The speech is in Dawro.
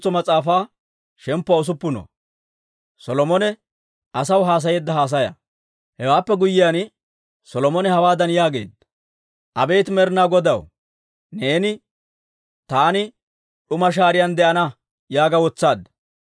Hewaappe guyyiyaan, Solomone hawaadan yaageedda; «Abeet Med'inaa Godaw, neeni, ‹Taani d'uma shaariyaan de'ana› yaaga wotsaadda.